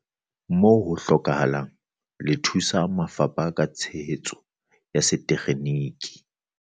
Moo ho hlokehang, le thusa mafapha ka tshehetso ya setekgeniki.